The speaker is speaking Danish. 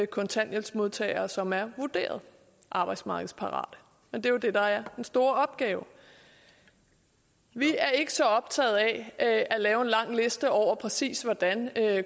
kontanthjælpsmodtagere som er vurderet arbejdsmarkedsparate men det er jo det der er den store opgave vi er ikke så optaget af at lave en lang liste over præcis hvordan